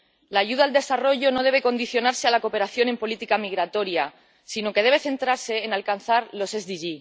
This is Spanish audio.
La ayuda al desarrollo no debe condicionarse a la cooperación en política migratoria, sino que debe centrarse en alcanzar los ODS.